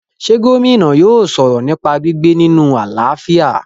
ṣé Gómìnà yóò sọ̀rọ̀ nípa gbígbé nínu àlàáfíà?